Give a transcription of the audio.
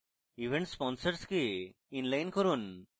event sponsors কে inline করুন